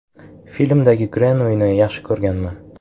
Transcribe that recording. Filmdagi Grenuyni yaxshi ko‘rganman.